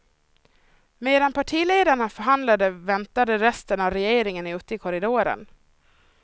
Medan partiledarna förhandlade väntade resten av regeringen ute i korridoren.